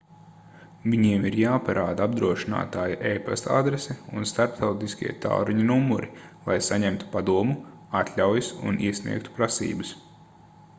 viņiem ir jāparāda apdrošinātāja e-pasta adrese un starptautiskie tālruņa numuri lai saņemtu padomu/atļaujas un iesniegtu prasības